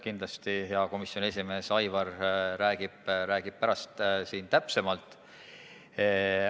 Kindlasti hea komisjoni esimees Aivar räägib pärast täpsemalt.